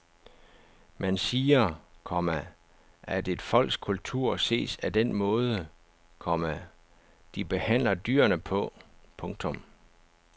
Man siger, komma at et folks kultur ses af den måde, komma de behandler dyrene på. punktum